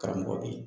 Karamɔgɔ bɛ yen